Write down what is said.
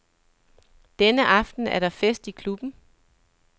Denne aften er der fest i klubben.